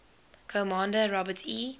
commander robert e